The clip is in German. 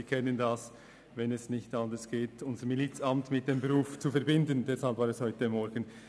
Sie kennen die Situation, wenn es nicht möglich ist, das Milizamt mit dem Beruf zu vereinbaren.